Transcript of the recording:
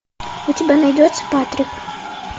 у тебя найдется патрик